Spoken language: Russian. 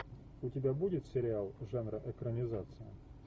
у тебя будет сериал жанра экранизация